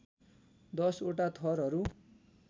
१० वटा थरहरू